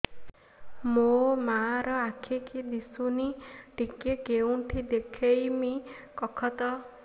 ମୋ ମା ର ଆଖି କି ଦିସୁନି ଟିକେ କେଉଁଠି ଦେଖେଇମି କଖତ